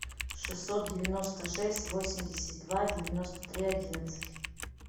шестьсот девяносто шесть восемьдесят два девяносто три одиннадцать